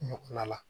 Ɲɔ kɔnɔna la